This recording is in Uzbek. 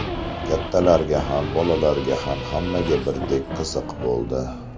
Kattalarga ham, bolalarga ham, hammaga birdek qiziq bo‘ldi.